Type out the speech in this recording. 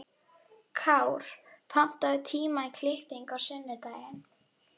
Kár, pantaðu tíma í klippingu á sunnudaginn.